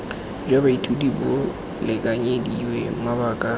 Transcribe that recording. jwa baithuti bo lekanyediwe mabaka